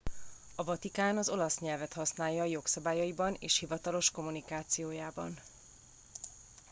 a vatikán az olasz nyelvet használja jogszabályaiban és hivatalos kommunikációjában